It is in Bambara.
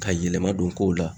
Ka yɛlɛma don kow la